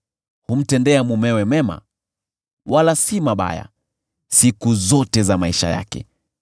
Humtendea mumewe mema, wala si mabaya, siku zote za maisha yake.